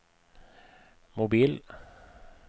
mobil